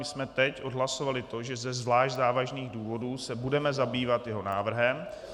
My jsme teď odhlasovali to, že ze zvlášť závažných důvodů se budeme zabývat jeho návrhem.